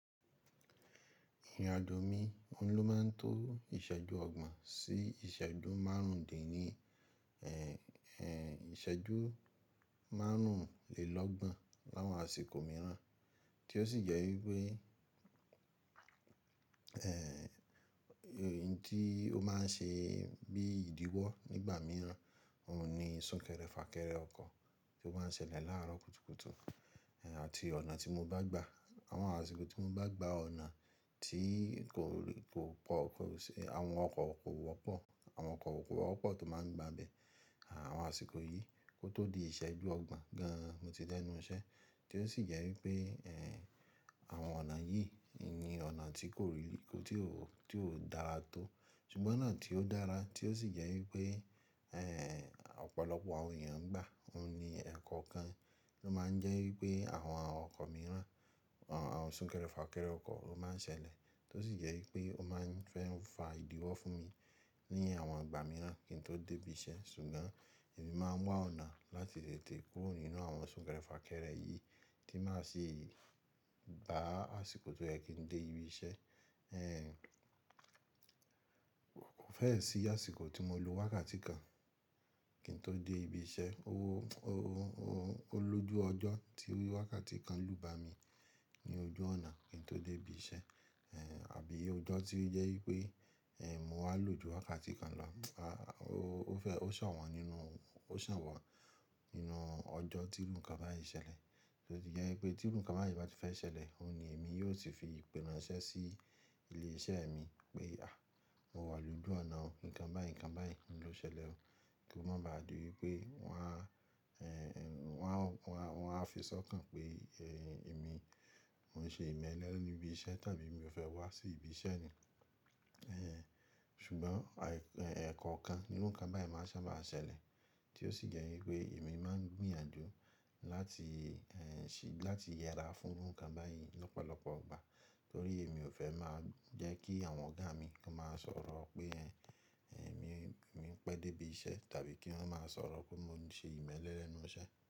Ìrìnàjò mi, ò n ló máa ń tó ìṣẹ́jú ọgbọ̀n sí ìṣẹ́jú márùndín ní, ìṣẹ́jú márùnlélọ́gbọ̀n láwọn àsìkò mìíràn, tí ó sì jẹ́ wípé èyí tí ó máa ń ṣe bíí ìdíwọ́ nígbà mìíràn, òun ni súnkẹrẹ fàkẹrẹ ọkọ̀ tí ó máa ń ṣẹlẹ̀ láàárọ̀ kùtùkùtù àti ọ̀nà tí mo bá gbà. Àwọn àsìkò tí mo bá gba ọ̀nà tí kò pò, àwọn ọkọ̀ kò wọ́pọ̀ àwọn ọkọ̀ kò wọ́pọ̀ tó máa ń gba ibẹ̀, àwọn àsìkò yìí kó tó di ìṣẹ́jú ọgbọ̀n gan-an mo ti dẹ́nu iṣẹ́. Tí ó sì jẹ́ wípé eh àwọn ọ̀nà yìí ni ọ̀nà tí kò tí ò tí ò dára tó, ṣùgbọ́n ọ̀nà tí ó dára tí ó sì jẹ́ wípé eh ọ̀pọ̀lọpọ̀ àwọn èèyàn ń gbà, òun ni ẹ̀kọ́ kan ló máa ń jẹ́ wípé àwọn ọkọ̀ mìíràn àwọn súnkẹrẹ fàkẹrẹ ọkọ̀ ló máa ń ṣẹlẹ̀, tí ó sì jẹ́ wípé ó máa ń fẹ́ fa ìdíwọ́ fún mi ní àwọn ìgbà mìíràn kí n tó dé ibi iṣẹ́. Ṣùgbọ́n èmi máa ń wá ọ̀nà láti tètè kúrò nínú àwọn súnkẹrẹ fàkẹrẹ yìí tí má sì ba à àsìkò tó yẹ kí n dé ibi iṣẹ́ eh. Kò fẹ́ ẹ̀ sí àsìkò tí mo lo wákàtí kan kí n tó dé ibi iṣẹ́, ó ó ó lójú ọjọ́ tí wákàtí kan lu ba mi ní ojú ọ̀nà kí n tó dé ibi iṣẹ́. Àbí ọjọ́ tí ó jẹ́ wípé mò ń wá lò ju wákàtí kan lọ, ó sàn nínu, ó wọ́n nínú ọjọ́ tí irú nǹkan báyìí ṣẹlẹ̀. Tí ó tì jẹ́ wípé tí irú nǹkan báyìí bá ti fẹ́ ṣẹlẹ̀, òun ni èmi yóò ti fi ìpè ránsẹ́ sí ilé iṣẹ́ mi pé, à mo wà lójú ọ̀nà, nǹkan báyìí, nǹkan báyìí ló ṣẹlẹ̀ o. Kí ó má ba à di wípé wón á wọ́n á fi sọ́kàn pé eh èmi mò ń ṣe ìmẹ́lẹ́ lẹ́nu ibi iṣẹ́ tàbí mi ò fẹ́ wá sí ibi iṣẹ́ ni. Ṣùgbọ́n ẹ̀èkòòkan ní irú nǹkan báyìí máa sábà ṣẹlẹ̀ tí ó sì jẹ́ wípé èmi máa ń gbìyànjú láti yẹra fún irú nǹkan báyìí lọ́pọ̀lọpọ̀ ìgbà, torí èmi ò fẹ́ máa jẹ́ kí àwọn ọ̀gá mi kí wón máa sọ̀rọ̀ pé eh èmi èmi ń pẹ́ dé ibi iṣẹ́ tàbí kí wọ́n máa sọ̀rọ̀ pé mò ń ṣe ìmẹ́lẹ́ lẹ́nu iṣẹ́.